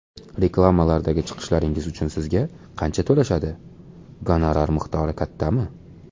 Reklamalardagi chiqishlaringiz uchun sizga qancha to‘lashadi, gonorar miqdori kattami?